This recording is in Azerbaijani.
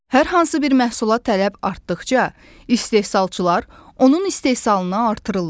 Hər hansı bir məhsula tələb artdıqca, istehsalçılar onun istehsalını artırırlar.